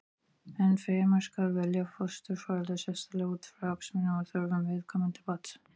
Enn fremur skal velja fósturforeldra sérstaklega út frá hagsmunum og þörfum viðkomandi barns.